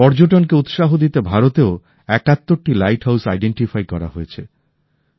পর্যটন কে উৎসাহ দিতে ভারতেও ৭১ টি লাইট হাউস চিহ্নিত করা হয়েছে